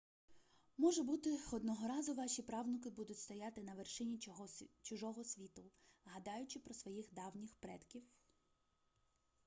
може бути одного разу ваші правнуки будуть стояти на вершині чужого світу гадаючи про своїх давніх предків